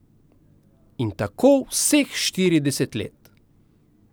In tako vseh štirideset let.